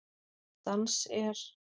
Dans er?